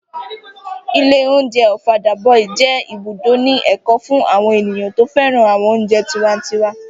Ilé oúnjẹ Ọ̀fadà boy jẹ́ ibùdó ní èkó fún àwọn ènìyàn tó féràn àwọn oúnjẹ tiwantiwa